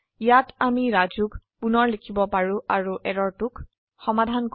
ইয়াত আমি Rajuক পুণৰ লিখিব পাৰো আৰু এৰৰটোক সমাধান কৰে